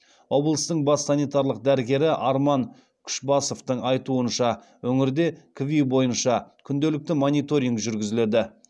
облыстың бас санитарлық дәрігері арман күшбасовтың айтуынша өңірде кви бойынша күнделікті мониторинг жүргізіледі